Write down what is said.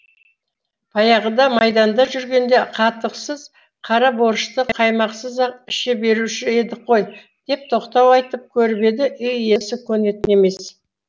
баяғыда майданда жүргенде қатықсыз қара борщты қаймақсыз ақ іше беруші едік қой деп тоқтау айтып көріп еді үй иесі көнетін емес